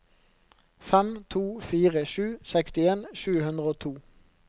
fem to fire sju sekstien sju hundre og to